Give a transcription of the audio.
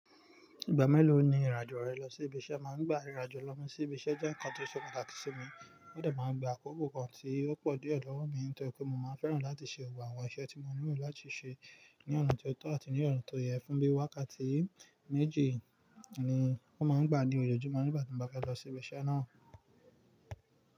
Ìgbà mélòó ni ìrìn àjò rẹ lọ sí ibi iṣẹ́? Màá gba ìrìn àjò lọ́ mi sí ibi iṣẹ́ jẹ́ nǹkan tó ṣe pàtàkì sí mi, ó dà máa gba àkókò kan tí ó pọ̀ diẹ́ lọ̀wó mi nítorí pé mo máa fẹ́ràn láti ṣe gbogbo àwọn iṣẹ́ tí mo nílò láti ṣe ní ọ̀nà tó tọ́ àti ní ọ̀nà tó yẹ. Fún bí wákàtí méjì ni o máa ń gbà ní ojoojúmọ́ nígbà tí mo bá fẹ́ lọ sí ibi iṣẹ́ náà.